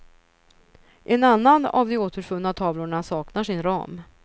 En annan av de återfunna tavlorna saknar sin ram.